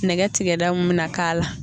Nɛgɛ tigɛda mun bɛna k'a la.